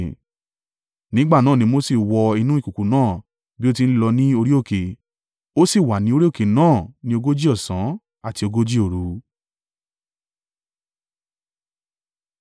Nígbà náà ni Mose wọ inú ìkùùkuu náà bí ó ti ń lọ ní orí òkè. Ó sì wà ni orí òkè náà ni ogójì ọ̀sán àti ogójì òru.